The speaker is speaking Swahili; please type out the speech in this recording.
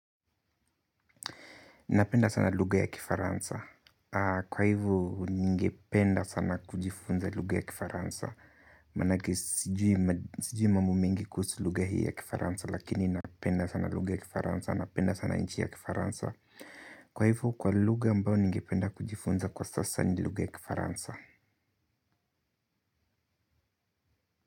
Napenda sana lugha ya Kifaransa. Kwa hivyo, ningependa sana kujifunza lugha ya Kifaransa. Manake, sijui mambo mingi kuhusu lugha hii ya Kifaransa, lakini napenda sana lugha ya Kifaransa, napenda sana inchi ya Kifaransa. Kwa hivyo kwa lugha ambayo ningependa kujifunza kwa sasa ni lugha ya Kifaransa.